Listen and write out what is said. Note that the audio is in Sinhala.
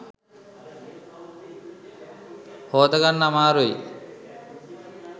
හෝදගන්න අමාරුයි.